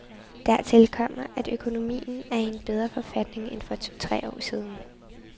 Dertil kommer, at økonomien er i en bedre forfatning end for to, tre år siden.